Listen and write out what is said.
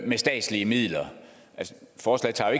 med statslige midler forslaget tager